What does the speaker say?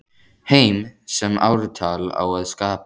Heim sem ártal á að skapa.